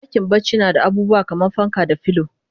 Dakin bacci nada abubuwa kaman fanka da filo